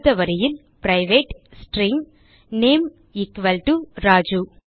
அடுத்த வரியில் private string name Raju